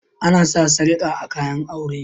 Ana sa sarƙa a kayan aure